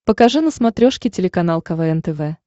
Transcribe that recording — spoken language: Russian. покажи на смотрешке телеканал квн тв